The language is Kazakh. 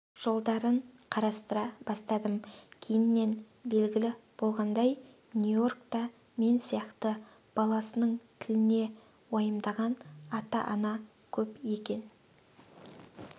жолдарын қарастыра бастадым кейіннен белгілі болғандай нью-йоркта мен сияқты баласының тіліне уайымдаған ата-ана көп екен